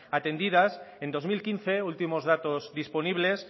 atendidas en dos mil quince últimos datos disponibles